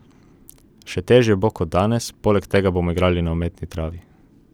Še težje bo kot danes, poleg tega bomo igrali na umetni travi.